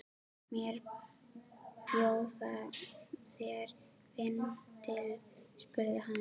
Má bjóða þér vindil? spurði hann.